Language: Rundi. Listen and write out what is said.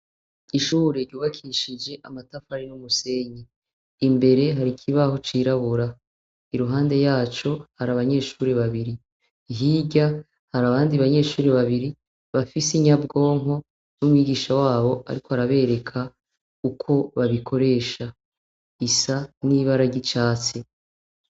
ishure ryubakishije amatafari n'umusenyi imbere hari ikibaho cirabura. Iruhande yaco hari abanyeshuri babiri. Hirya hari abandi banyeshuri babiri bafise inyabwonko n'umwigisha wabo ariko arabereka uko babikoresha. Isa n'ibara ry' icatsi.